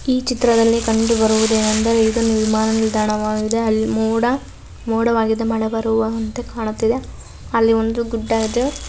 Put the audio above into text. ಈ ಚಿತ್ರದಲ್ಲಿ ಕಂಡುಬರುವುದೇನಂದರೆ ಇದು ವಿಮಾನ ನಿಲ್ದಾಣವಾಗಿದೆ ಅಲ್ಲಿ ಮೋಡ ಮೋಡವಾಗಿದೆ ಅಲ್ಲಿ ಮಳೆ ಬರುವ ವಂತೆ ಕಾಣುತ್ತದೆ. ಅಲ್ಲಿ ಒಂದು ಗುಡ್ಡ ಇದೆ.